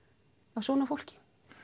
af svona fólki